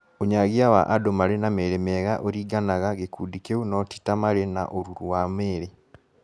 Ũnyagia wa andũ marĩ na mĩĩrĩ mĩega ũringanaga gĩkundĩ kĩu no ti ta matarĩ na ũruru wa mwĩrĩ